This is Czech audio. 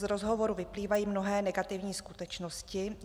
Z rozhovoru vyplývají mnohé negativní skutečnosti.